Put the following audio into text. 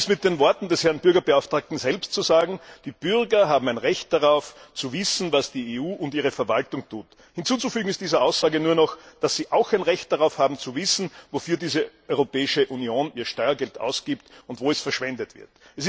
Um es mit den Worten des Herrn Bürgerbeauftragten selbst zu sagen Die Bürger haben ein Recht darauf, zu wissen, was die EU und ihre Verwaltung tut. Hinzuzufügen ist dieser Aussage nur noch, dass sie auch ein Recht darauf haben, zu wissen, wofür diese Europäische Union ihr Steuergeld ausgibt und wo es verschwendet wird.